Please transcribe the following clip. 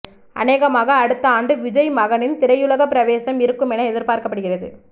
அனேகமாக அடுத்த ஆண்டு விஜய் மகனின் திரையுலக பிரவேசம் இருக்கும் என எதிர்பார்க்கப்படுகிறது